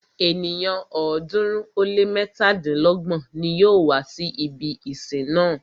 Ènìyàn ọ̀ọ́dúnrún ó lé mẹ́tàdínlọ́gbọ̀n ní yóò wá si ibi ìsìn náà.